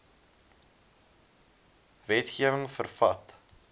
wetge wing vervat